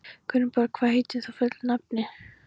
Gunnborg, hvað heitir þú fullu nafni?